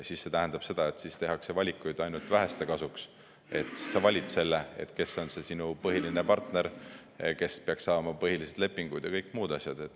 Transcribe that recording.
See tähendab seda, et siis tehakse valikuid ainult väheste kasuks: sa valid selle, kes on sinu põhiline partner, kes peaks saama põhilised lepingud ja kõik muud asjad.